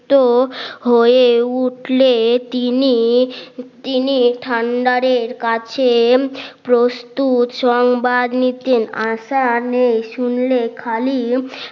তো হয়ে উঠলে তিনি তিনি ঠান্ডার এর কাছে প্রস্তুত সংবাদ নিতেন আশা নেই শুনলে খালি